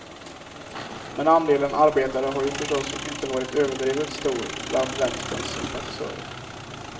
Men andelen arbetare har ju förstås inte varit överdrivet stor bland vänsterns sympatisörer.